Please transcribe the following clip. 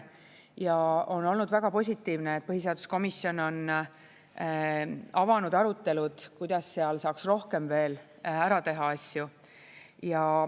Ja on olnud väga positiivne, et põhiseaduskomisjon on avanud arutelud, kuidas seal saaks rohkem veel ära teha asju.